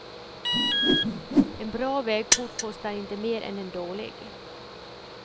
En bra vägport kostar inte mer än en dålig.